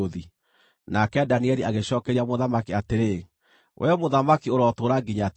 Nake Danieli agĩcookeria mũthamaki atĩrĩ, “Wee mũthamaki, ũrotũũra nginya tene!